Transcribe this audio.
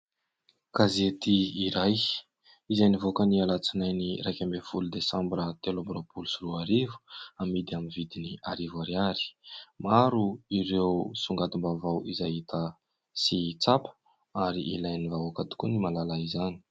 Gazety iray izay nivoaka ny Alatsinainy iraka ambin'ny folo Desambra telo amby roapolo sy roa arivo, amidy amin'ny vidiny arivo ariary. Maro ireo songadim-baovao izay hita sy tsapa ary ilain'ny vahoaka tokoa ny mahalala izany.